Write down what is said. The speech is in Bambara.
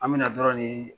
An bɛna dɔrɔn nii